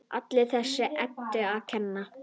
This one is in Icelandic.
Allt þessari Eddu að kenna!